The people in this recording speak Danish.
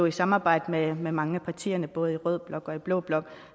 i samarbejde med mange af partierne både i rød blok og i blå blok